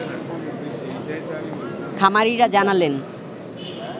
খামারিরা জানালেন